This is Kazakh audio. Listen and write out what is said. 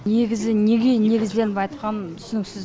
негізі неге негізденіп айтқан түсініксіз